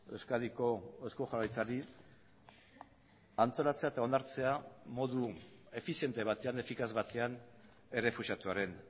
euskadiko eusko jaurlaritzari antolatzea eta onartzea modu efiziente batean efikaz batean errefuxiatuaren